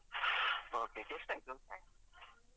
Okay ಎಷ್ಟಾಯ್ತು?